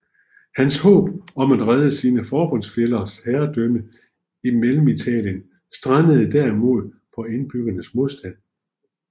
Hans håb om at redde sine forbundsfællers herredømme i Mellemitalien strandede derimod på indbyggernes modstand